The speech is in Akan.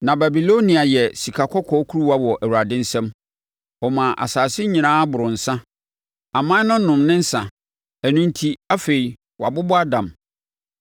Na Babilonia yɛ sikakɔkɔɔ kuruwa wɔ Awurade nsam; ɔmaa asase nyinaa boroo nsã. Aman no nom ne nsã; ɛno enti, afei, wɔabobɔ adam.